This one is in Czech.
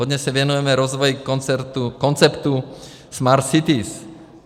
Hodně se věnujeme rozvoji konceptu Smart Cities.